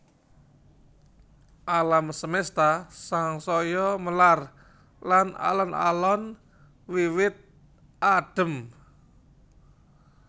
Alam semesta sansaya melar lan alon alon wiwit adhem